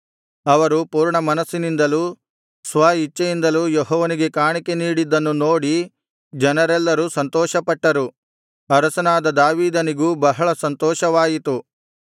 ಅವರು ಪೂರ್ಣಮನಸ್ಸಿನಿಂದಲೂ ಸ್ವ ಇಚ್ಛೆಯಿಂದಲೂ ಯೆಹೋವನಿಗೆ ಕಾಣಿಕೆ ನೀಡಿದ್ದನ್ನು ನೋಡಿ ಜನರೆಲ್ಲರೂ ಸಂತೋಷಪಟ್ಟರು ಅರಸನಾದ ದಾವೀದನಿಗೂ ಬಹಳ ಸಂತೋಷವಾಯಿತು